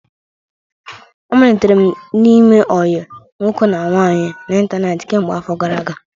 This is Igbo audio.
Amalitere m ime ọyi nwoke na nwaanyị n'ịntanetị kemgbe afọ gara aga.